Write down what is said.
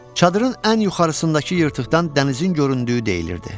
Çadırın ən yuxarısındakı yırtıqdan dənizin göründüyü deyilirdi.